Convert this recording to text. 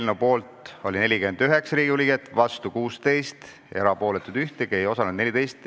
Eelnõu poolt oli 49 Riigikogu liiget, vastu 16, erapooletuid ei ühtegi, ei osalenud 14.